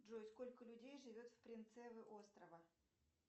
джой сколько людей живет в принцевы острова